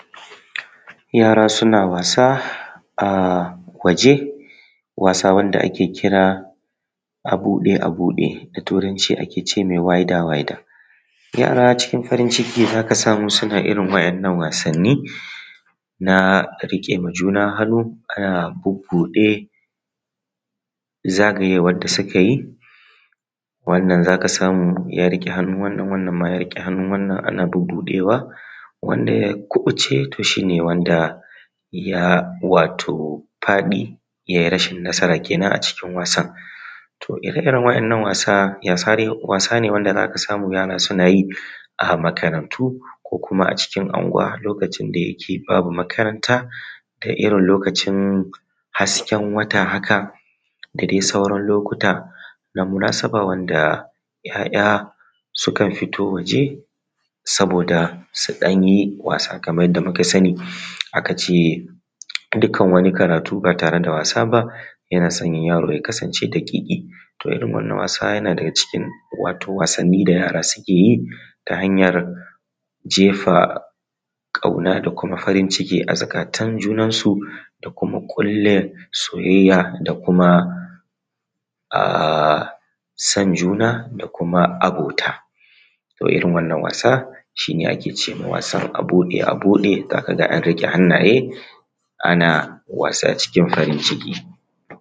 Yara suna wasa a waje wasan da ake kira, 'Abuɗe-abuɗe'. Da Turanci ake ce mai wider wider. Yara cikin farin ciki za ka samu suna irin waɗannan Wasanni na a riƙe wa juna hannu suna bubbuɗe zagayewa za ka samu wannan ya rike hannun wannan suna bubbuɗewa wanda ya kuɓuce shi ne wanda ya wato faɗi ya yi rashin nasara kenan cikin wasan. Ire-iren waɗannan wasa wasa ne wanda za ka samu yara na yi a cikin makarantu ko a unguwanni a lokacin da yake babu makaranta da irin lokacin hasken wata da haka da sauran lokuta da munasaba haka suka fito waje Saboda su ɗan yi wasa kamar yadda muka sani. An ce dukkan wani karatu ba tare da wasa ba yana sanya yaro ya kasance daƙiƙi, wasan yana daga cikin Wasanni da yara suke yi hanyar jefa kauna da farin ciki a cikin zuƙatan junansu na ƙulla soyayya da kuna ah san juna da kuma abota. Irin wannan wasa shi ne wasan da ake ce ma wasan a buɗe a bude za ka ga an rirriƙe hannaye ana wasa cikin farin ciki.